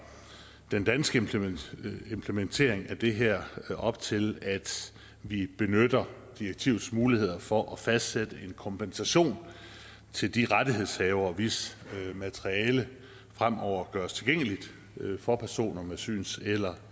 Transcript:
den danske implementering af det her op til at vi benytter direktivets muligheder for at fastsætte en kompensation til de rettighedshavere hvis materiale fremover gøres tilgængeligt for personer med syns eller